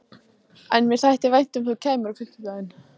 En mér þætti vænt um að þú kæmir á fimmtudaginn.